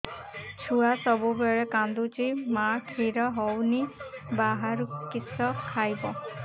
ଛୁଆ ସବୁବେଳେ କାନ୍ଦୁଚି ମା ଖିର ହଉନି ବାହାରୁ କିଷ ଖାଇବ